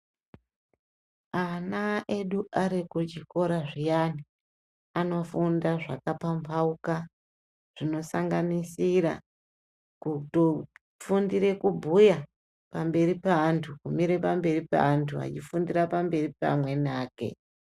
Ana edu ari kuchikora zviyani anofunda zvakapambauka zvinosanganisira kutofundire kubhuya pamberi peandu kumire pamberi peandu achifundise pamberi pamweni ake.